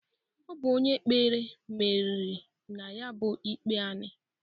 Ọ bụ onye kpere meriri na ya bụ ikpe anị.